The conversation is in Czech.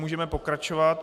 Můžeme pokračovat.